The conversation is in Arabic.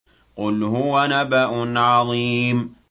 قُلْ هُوَ نَبَأٌ عَظِيمٌ